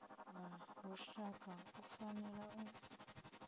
wa lushaka u fanela u